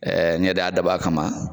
ɲɛda daba kama